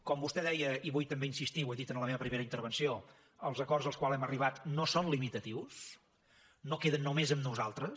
com vostè deia i hi vull també insistir i ho he dit en la meva primera intervenció els acords als quals hem arribat no són limitatius no queden només en nosaltres